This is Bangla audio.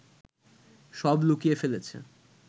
সব লুকিয়ে ফেলেছে